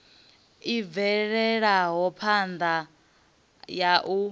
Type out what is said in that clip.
i bvelaho phanda ya u